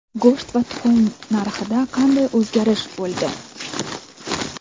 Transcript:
go‘sht va tuxum narxida qanday o‘zgarish bo‘ldi?.